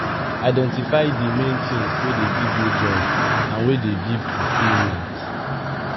identify di main things wey dey give you joy and wey dey give fulfilment